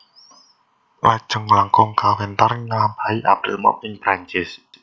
Lajeng langkung kawéntar nglampahi April Mop ing Prancis